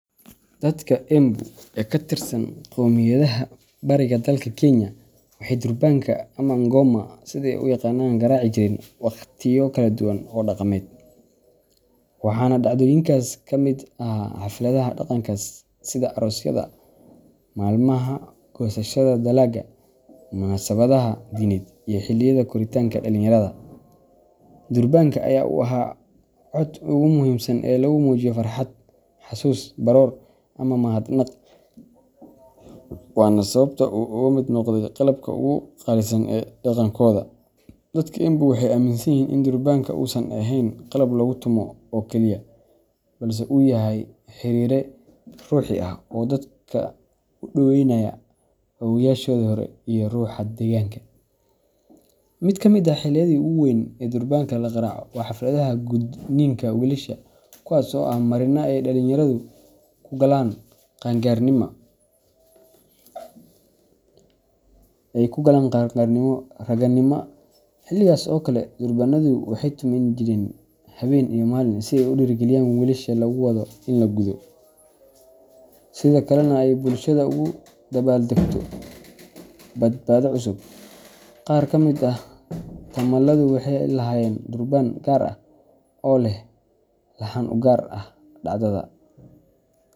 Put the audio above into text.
Dadka Embu ee ka tirsan qowmiyadaha bariga dalka Kenya, waxay durbaanka ama ngoma sida ay u yaqaanaan qaraaci jireen waqtiyo kala duwan oo dhaqameed, waxaana dhacdooyinkaas ka mid ahaa xafladaha dhaqanka sida aroosyada, maalmaha goosashada dalagga, munaasabadaha diineed, iyo xilliyada koritaanka dhallinyarada. Durbaanka ayaa u ahaa codka ugu muhiimsan ee lagu muujiyo farxad, xasuus, baroor, ama mahadnaq waana sababta uu uga mid noqday qalabka ugu qaalisan ee dhaqankooda. Dadka Embu waxay aaminsan yihiin in durbaanka uusan ahayn qalab lagu tumo oo kaliya, balse uu yahay xiriiriye ruuxi ah oo dadka u dhoweynaya awoowayaashoodii hore iyo ruuxa deegaanka. Mid ka mid ah xilliyada ugu weyn ee durbaanka la qaraaco waa xafladaha gudniinka wiilasha, kuwaas oo ah marinka ay dhallinyaradu ku galaan qaan gaarnimada raganimada. Xilligaas oo kale, durbaanadu waxay tuman jireen habeen iyo maalin si ay u dhiirrigeliyaan wiilasha lagu wado in la gudo, sidoo kalena ay bulshadu ugu dabaaldegto badhaadhe cusub. Qaar ka mid ah tumaaladu waxay lahaayeen durbaan gaar ah oo leh laxan u gaar ah dhacdada.